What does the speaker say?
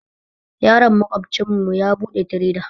Yaron maƙwabcin mu ya buɗe tireda